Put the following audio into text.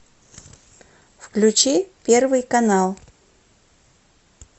включи первый канал